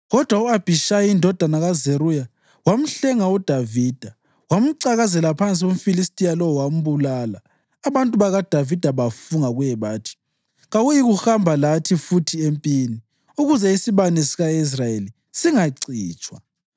Kodwa u-Abhishayi indodana kaZeruya wamhlenga uDavida; wamcakazela phansi umFilistiya lowo wambulala. Abantu bakaDavida bafunga kuye bathi, “Kawuyikuhamba lathi futhi empini, ukuze isibane sika-Israyeli singacitshwa.”